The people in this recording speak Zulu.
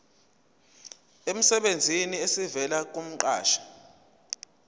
emsebenzini esivela kumqashi